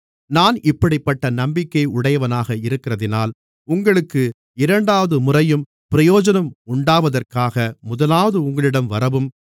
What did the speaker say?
நான் இப்படிப்பட்ட நம்பிக்கையை உடையவனாக இருக்கிறதினால் உங்களுக்கு இரண்டாவதுமுறையும் பிரயோஜனம் உண்டாவதற்காக முதலாவது உங்களிடம் வரவும்